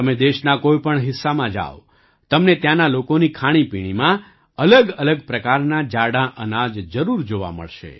તમે દેશના કોઈ પણ હિસ્સામાં જાવ તમને ત્યાંના લોકોની ખાણીપીણીમાં અલગઅલગ પ્રકારનાં જાડાં અનાજ જરૂર જોવા મળશે